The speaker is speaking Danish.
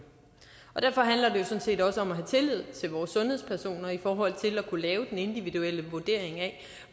derfor handler det sådan set også om at have tillid til vores sundhedspersoner i forhold til at kunne lave den individuelle vurdering af